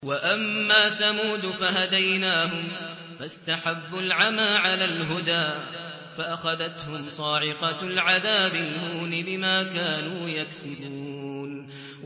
وَأَمَّا ثَمُودُ فَهَدَيْنَاهُمْ فَاسْتَحَبُّوا الْعَمَىٰ عَلَى الْهُدَىٰ فَأَخَذَتْهُمْ صَاعِقَةُ الْعَذَابِ الْهُونِ بِمَا كَانُوا يَكْسِبُونَ